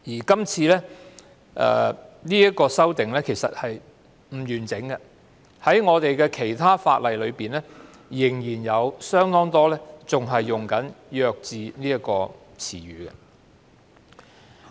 這項修訂其實並不完整，因為在其他法例中，很多條文仍會使用"弱智"一詞。